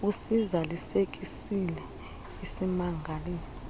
usiza lisekisile isimangali